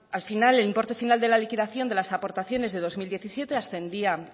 al final el importe final de la liquidación de las aportaciones de dos mil diecisiete ascendía